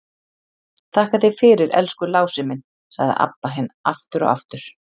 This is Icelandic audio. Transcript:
Þakka þér fyrir, elsku Lási minn, sagði Abba hin aftur og aftur.